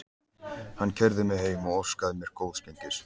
Hann keyrði mig heim og óskaði mér góðs gengis.